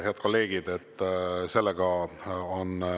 Head kolleegid!